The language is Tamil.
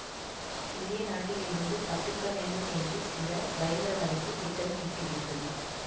இந்திய நாட்டில் இருந்து தப்பிக்க வேண்டும் என்று சில பயங்கரவாதிகள் திட்டம் தீட்டுகின்றனர்